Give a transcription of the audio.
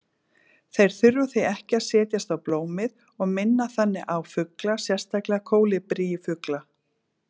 Þeir þurfa því ekki að setjast á blómið og minna þannig á fugla, sérstaklega kólibrífugla.